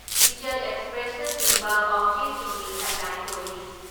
ꯏꯆꯦꯜ ꯑꯦꯛꯁꯄ꯭ꯔꯦꯁꯅꯆꯤꯡꯕ ꯄꯥꯎꯆꯦꯁꯤꯡꯒꯤ ꯍꯦꯗꯂꯥꯏꯟ ꯑꯣꯏꯔꯤ ꯫